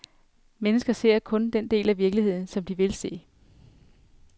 Mennesker ser kun den del af virkeligheden, som de vil se.